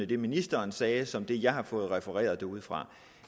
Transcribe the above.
det ministeren sagde som det jeg har fået refereret derudefra